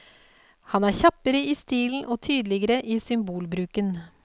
Han er kjappere i stilen og tydeligere i symbolbruken.